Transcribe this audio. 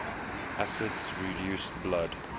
acids reduce blood